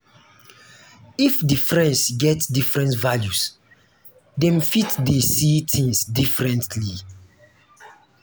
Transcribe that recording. if di friends get different values dem fit fit de see things differently